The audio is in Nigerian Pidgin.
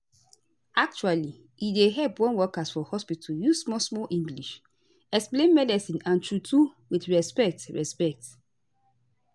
actually e dey help wen workers for hospitu use small small english explain medicine and true true with respect respect